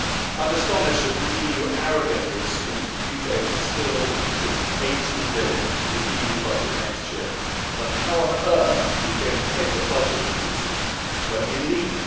I'm astonished that the EU arrogantly assumes the UK will still be contributing EUR 18 billion to the EU budget next year, but how on earth are you going to pay for budget increases when we leave?